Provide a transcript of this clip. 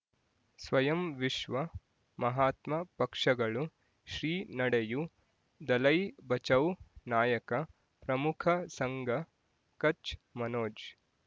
ಸ್ವಯಂ ವಿಶ್ವ ಮಹಾತ್ಮ ಪಕ್ಷಗಳು ಶ್ರೀ ನಡೆಯೂ ದಲೈ ಬಚೌ ನಾಯಕ ಪ್ರಮುಖ ಸಂಘ ಕಚ್ ಮನೋಜ್